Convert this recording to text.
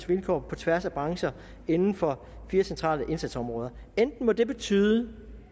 vilkår på tværs af brancher inden for fire centrale indsatsområder enten må det betyde